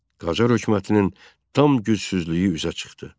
Qacar hökumətinin tam gücsüzlüyü üzə çıxdı.